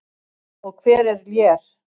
Og hver er Lér?